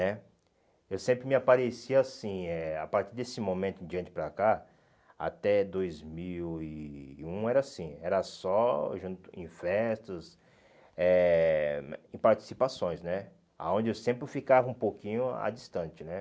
né Eu sempre me aparecia assim, eh a partir desse momento em diante para cá, até dois mil e um era assim, era só em festas, eh em participações né, aonde eu sempre ficava um pouquinho a distante né.